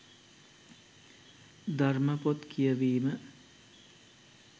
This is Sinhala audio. ධර්ම පොත් කියවීම